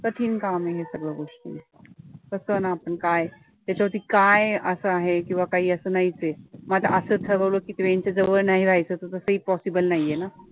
कठीण काम आहे हे सगळं गोष्टी, कसं ना आपण काय ह्याच्यावरती काय असं आहे किंवा काही असं नाहीचं आहे, मग आता असं ठरवलं की train च्या जवळ नाही राहायचं, तर तसंही possible नाहीये ना